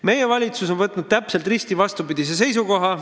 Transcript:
Meie valitsus on võtnud täpselt risti vastupidise seisukoha.